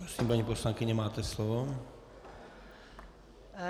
Prosím, paní poslankyně, máte slovo.